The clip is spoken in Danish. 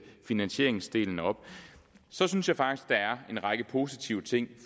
finansieringsdelen op så synes jeg faktisk der er en række positive ting